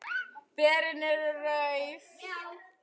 Berin eru rauð.